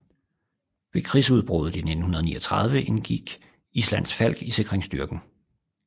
Ved krigudbruddet i 1939 indgik Islands Falk i sikringsstyrken